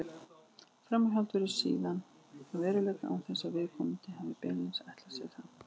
Framhjáhald verður síðan að veruleika án þess að viðkomandi hafi beinlínis ætlað sér það.